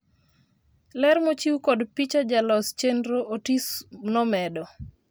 ler mochiw kod picha, jalos chenro Otis nomedo